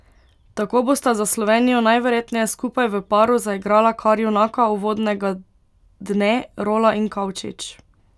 Tako bosta za Slovenijo najverjetneje skupaj v paru zaigrala kar junaka uvodnega dne, Rola in Kavčič.